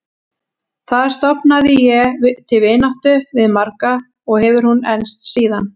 Þar stofnaði ég til vináttu við marga og hefur hún enst síðan.